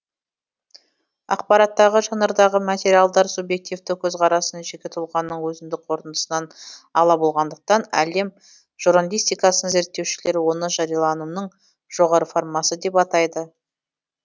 ақпараттағы жанрдағы материалдар субъективті көзқарастан жеке тұлғаның өзіндік қорытындысынан ала болғандықтан әлем журналистикасын зерттеушілер оны жарияланымның жоғары формасы деп атайды